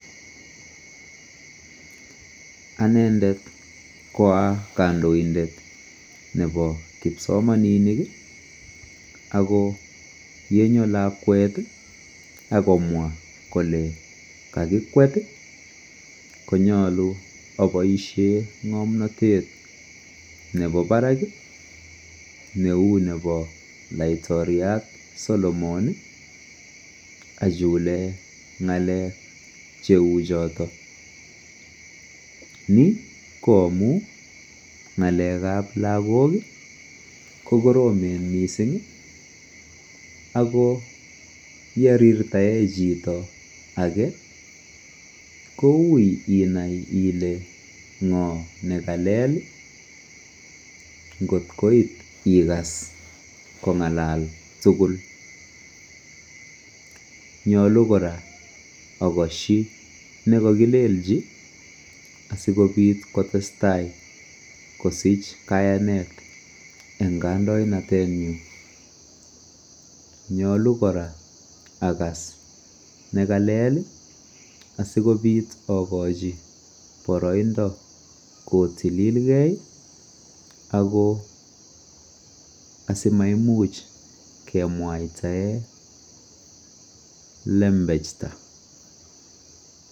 anendet koaa kondoindet nebo kipsomaninik iih ago yencho lakwet iih ak komwa kole kagikwet iih, konyolu oboishen ngomnotet nebo baraak iih neuu nebo laitoriat Solomon iih achu kole ngaleek cheuu choton, ni ko amuun ngaleek ab lagook iih kogoromen mising ago yerirtaen chito age kouu inaai ile ngoo negalel ngoot koit igaas kongalal tuguul, nyolu koraa ogosyi negagibelchi asigobiit kotestaai kosich kayaneet en kandoinatet nyiin, nyolu koraa agaas negalel iih asigobiit ogochi boroindo kotililgee ago simaimuch kemwaitaen lempechta.